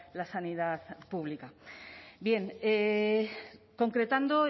la sanidad pública bien concretando